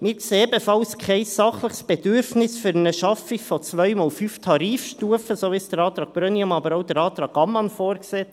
Wir sehen ebenfalls kein sachliches Bedürfnis für eine Schaffung von 2-mal 5 Tarifstufen, so wie es der Antrag Brönnimann, aber auch der Antrag Ammann vorsieht.